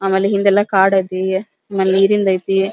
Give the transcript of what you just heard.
ಆಮೇಲೆ ಹಿಂಗೆಲ್ಲ ಕಾಡ್ ಐಟಿ ಆಮೇಲೆ ನೀರಿಂದ್ ಐತಿ.